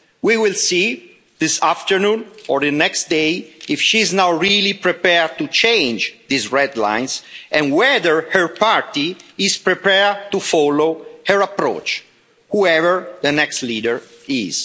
We will see, this afternoon or the next day, if she is now really prepared to change these red lines and whether her party is prepared to follow her approach, whoever the next leader is.